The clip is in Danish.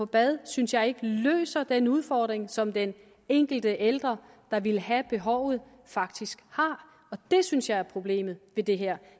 bade synes jeg ikke løser den udfordring som den enkelte ældre der ville have behovet faktisk har det synes jeg er problemet ved det her